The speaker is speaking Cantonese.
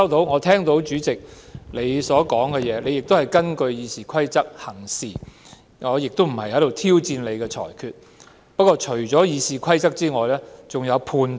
我聽到主席表示自己根據《議事規則》行事，而我亦無意挑戰你的裁決，但在《議事規則》以外還有判斷的。